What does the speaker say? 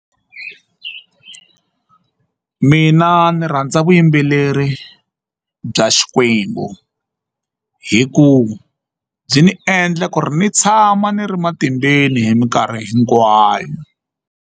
Mina ndzi rhandza vuyimbeleri bya Xikwembu hikuva byi ni endla ku ri ni tshama ni ri matimbeni hi mikarhi hinkwayo.